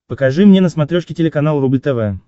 покажи мне на смотрешке телеканал рубль тв